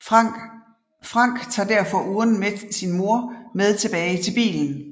Frank tager derfor urnen med sin mor med tilbage til bilen